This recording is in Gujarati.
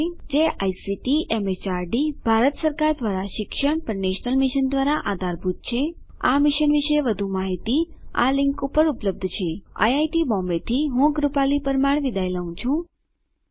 જે આઇસીટી એમએચઆરડી ભારત સરકાર દ્વારા શિક્ષણ પર નેશનલ મિશન દ્વારા આધારભૂત છે આ મિશન વિશે વધુ માહીતી આ લીંક ઉપર ઉપલબ્ધ છે httpspoken tutorialorgNMEICT Intro IIT Bombay તરફથી ભાષાંતર કરનાર હું જ્યોતી સોલંકી વિદાય લઉં છું